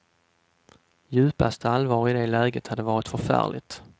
Djupaste allvar i det läget hade varit förfärligt.